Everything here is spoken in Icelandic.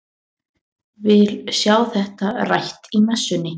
Vil sjá þetta rætt í messunni!